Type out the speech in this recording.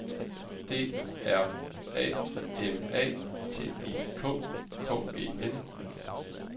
D R A M A T I K K E N